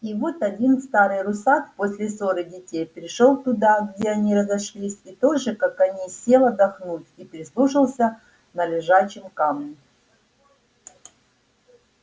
и вот один старый русак после ссоры детей пришёл туда где они разошлись и тоже как они сел отдохнуть и прислушаться на лежачем камне